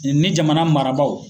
ni jamana marabaaw.